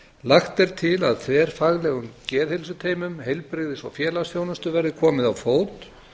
lagt er til að þverfaglegum geðheilsuteymum heilbrigðis og félagsþjónustu verði komið á fót